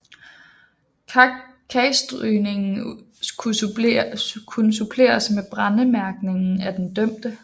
Kagstrygningen kunne suppleres med brændemærkning af den dømte